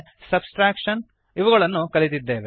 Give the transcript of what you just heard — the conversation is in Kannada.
ಸಬ್ಟ್ರಾಕ್ಷನ್ ಇವುಗಳನ್ನು ಕಲಿತಿದ್ದೇವೆ